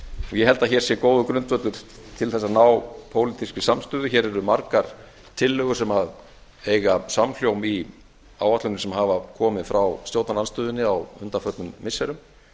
ég held að hér sé góður grundvöllur til að ná pólitískri samstöðu hér eru margar tillögur sem eiga samhljóm í áætlunum sem hafa komið frá stjórnarandstöðunni á undanförnum missirum